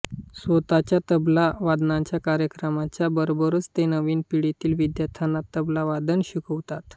स्वतःच्या तबला वादनाच्या कार्यक्रमांच्या बरोबरच ते नवीन पिढीतील विद्यार्थ्यांना तबलावादन शिकवतात